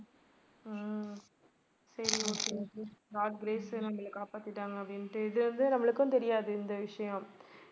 ஹம் சரி okay okay god grace எங்களை காப்பாத்திட்டாங்க அப்படினுட்டு இது வந்து நம்மளுக்கும் தெரியாது இந்த விஷயம்.